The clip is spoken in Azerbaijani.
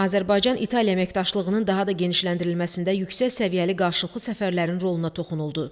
Azərbaycan-İtaliya əməkdaşlığının daha da genişləndirilməsində yüksək səviyyəli qarşılıqlı səfərlərin roluna toxunuldu.